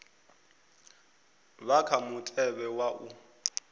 vha kha mutevhe wa u